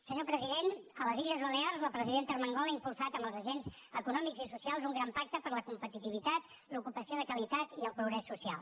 senyor president a les illes balears la presidenta armengol ha impulsat amb els agents econòmics i socials un gran pacte per la competitivitat l’ocupació de qualitat i el progrés social